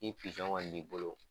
Ni kɔni b'i bolo